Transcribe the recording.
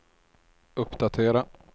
uppdatera